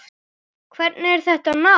Hvernig er þetta nám?